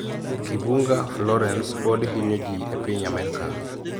Kibunga Florence podi hinyo ji e piny Amerka